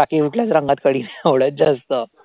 बाकी कुठल्याचं रंगात कढी नाही आवडतं जास्त